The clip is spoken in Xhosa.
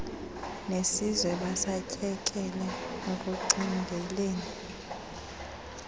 nesizwe basatyekele ekucingeleni